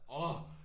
Årh!